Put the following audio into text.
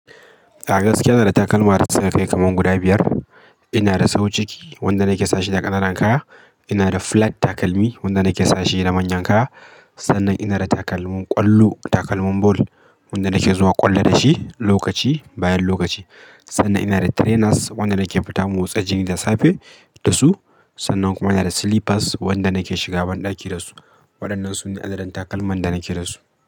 A gaskiya ina da takalma dasu ka kai kaman guda biyar ina da sau ciki wanda nake sashe da ƙananan kaya. Ina da flat takalmi wanda nake sashe da manyan kaya. Sannan ina da takalmin ƙwallo, takalmin ball wanda nake zuwa ƙwallo da shi lokaci, bayan lokaci. Sannan ina da trainers wanda nake fita motsa jiki da safe da su. Sannan kuma ina da slippers wanda nake shiga banɗaki da su. Waɗannan su ne adadin takalman da nake da su.